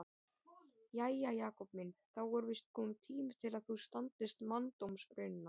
Jæja, Jakob minn, þá er víst kominn tími til að þú standist manndómsraunina.